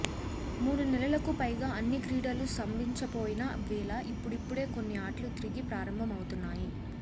మూడు నెలలకు పైగా అన్ని క్రీడలూ స్తంభించిపోయిన వేళ ఇప్పుడిప్పుడే కొన్ని ఆటలు తిరిగి ప్రారంభమవుతున్నాయి